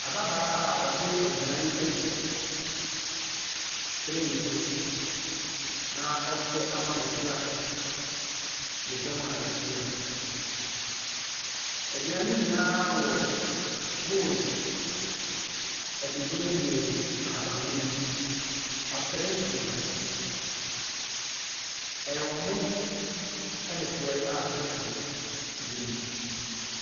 Ababaa ɔde aduan ɛgu tray so na ɔrekyɛ ama mmɔfra ne dɔm a ɛhyia. Aduan ne nyinaa wɔ bowl adubrenee ahaban mono mu. Atere deda so. Ɛyɛ ɔmo ne frɔɛ a sausage wɔ mu.